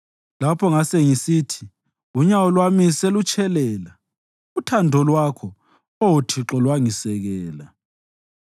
Lapho ngasengisithi, “Unyawo lwami selutshelela,” uthando lwakho, Oh Thixo, lwangisekela.